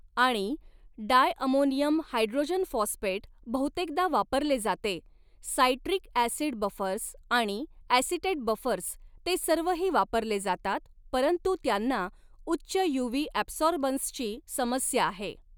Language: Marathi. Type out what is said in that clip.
आणि डाय अमोनियम हायड्रोजन फॉस्फेट बहुतेकदा वापरले जाते सायट्रिक ॲसिड बफर्स आणि ॲसिटेट बफर्स ते सर्वही वापरले जातात परंतु त्यांना उच्च यूव्ही ॲबसॉर्बन्सची समस्या आहे.